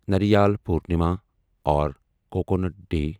ناریل پورنما اور coconut day